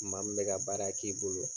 Maa min bɛ ka baara k'i bolo.